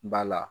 Ba la